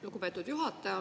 Lugupeetud juhataja!